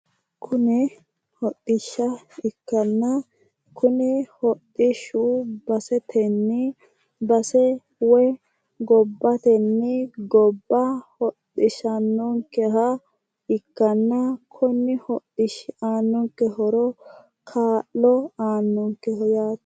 Kuni hodhishshu baseteni base woyi gobbateni gobba hodhisanonke gara ikkanna koni hodhishshi aana noonke horo lowo kaayyoti yaate.